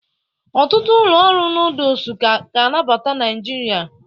Ọtụtụ ụlọ ọrụ nọdụs ka ga-abata Naịjirịa.